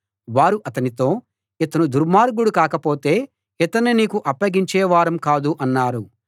వారు అతనితో ఇతను దుర్మార్గుడు కాకపోతే ఇతన్ని నీకు అప్పగించే వారం కాదు అన్నారు